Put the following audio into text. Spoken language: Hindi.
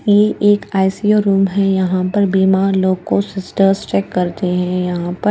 ये एक आई_सी_यू रूम है यहाँ पर बीमार लोग को सिस्टर्स चेक करते हैं यहाँ पर--